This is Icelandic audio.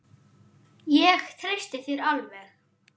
Ég treysti þér alveg!